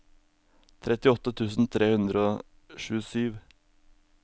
trettiåtte tusen tre hundre og tjuesju